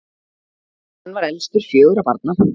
hann var elstur fjögurra barna